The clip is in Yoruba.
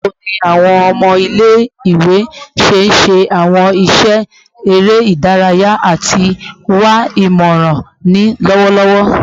Bawo ni awọn ọmọ ile-iwe ṣe ṣe awọn iṣẹ ere idaraya ati wa imọran ni lọwọlọwọ?